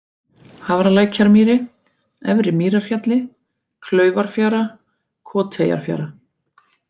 Hafralækjarmýri, Efri-Mýrarhjalli, Klaufarfjara, Koteyjarfjara